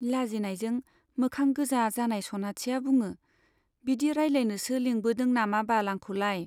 लाजिनायजों मोखां गोजा जानाय सनाथिया बुङो , बिदि रायलायनोसो लिंबोदों नामाबाल आंखौलाय ?